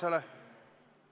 Kuidas?